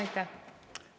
Aitäh!